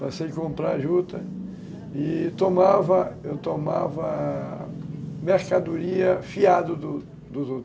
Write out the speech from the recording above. Passei a comprar juta e tomava mercadoria fiado dos dos outros.